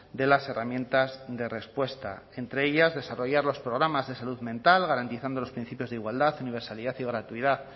de las herramientas de respuesta entre ellas desarrollar los programas de salud mental garantizando los principios de igualdad universalidad y gratuidad